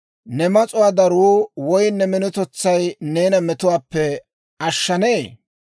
Ne mas'uwaa daruu woy ne minotetsay neena metuwaappe ashshanee?